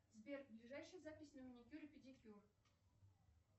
сбер ближайшая запись на маникюр и педикюр